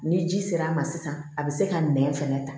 Ni ji sera a ma sisan a bi se ka nɛn fɛnɛ